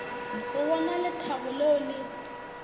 go bona lethabo leo le